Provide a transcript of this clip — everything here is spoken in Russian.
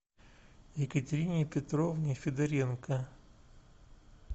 екатерине петровне федоренко